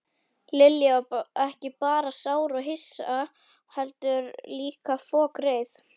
Lilja var ekki bara sár og hissa heldur líka fokreið.